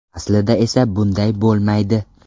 Aslida esa bunday bo‘lmaydi.